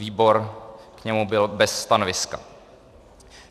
Výbor k němu byl bez stanoviska.